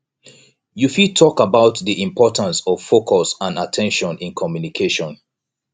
you fit talk about di importance of focus and at ten tion in communication